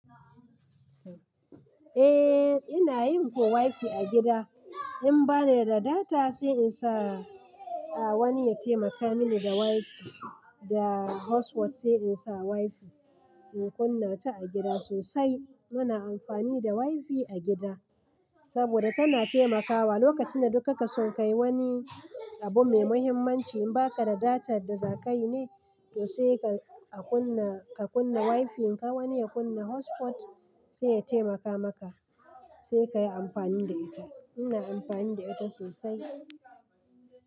Eh, ina yin ko wi-fi a gida. In bani da data sai in sa wani ya taimaka mini da wi-fi, da hotspot sai in sa wi-fi. In kunna ta a gida sosai. Muna amfani da wi-fi a gida saboda tana taimakawa lokacin da dukka ka sun kai wani abu mai muhimmanci in ba ka da data da za ka yi ne, to sai ka kunna wi-fi. In ka wani ya kunna hotspot sai ya taimaka maka sai ka yi amfani da ita. Ina amfani da ita sosai.